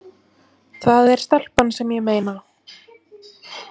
Það er stelpan sem ég meina.